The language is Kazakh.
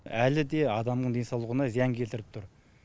әлі де адамның денсаулығына зиян келтіріп тұр